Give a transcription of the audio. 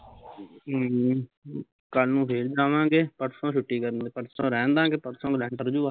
ਅਮ, ਕੱਲ ਨੂੰ ਫੇਰ ਜਾਵਾਂਗੇ ਪਰਸੋਂ ਛੁੱਟੀ ਕਰਨੀ ਆ ਪਰਸੋਂ ਰਹਣਦਾਂਗੇ ਪਰਸੋਂ ਨੂੰ ਲੈਟਰ